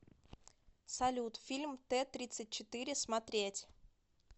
салют фильм тэ тридцать четыре смотреть